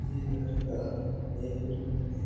ये रेड का एक रूम है।